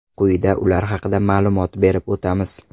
Quyida ular haqida ma’lumot berib o‘tamiz.